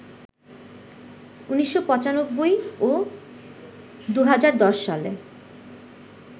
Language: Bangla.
১৯৯৫ ও ২০১০ সালে